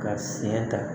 Ka fiɲɛ ta